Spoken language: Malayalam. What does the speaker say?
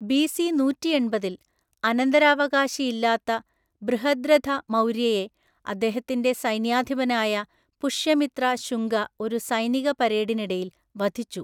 ബിസി നൂറ്റിയെണ്‍പതില്‍ അനന്തരാവകാശി ഇല്ലാത്ത ബൃഹദ്രഥ മൗര്യയെ അദ്ദേഹത്തിന്റെ സൈന്യാധിപനായ പുഷ്യമിത്ര ശുംഗ ഒരു സൈനിക പരേഡിനിടയിൽ വധിച്ചു.